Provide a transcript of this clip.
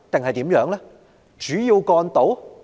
何謂主要幹道？